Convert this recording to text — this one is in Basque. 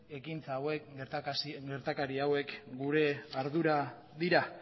gertakari hauek gure ardura dira